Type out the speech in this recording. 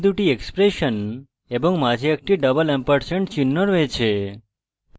এখানে দুটি এক্সপ্রেশন এবং মাঝে একটি double ampersand চিহ্ন রয়েছে